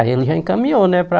Aí ele já encaminhou, né, para...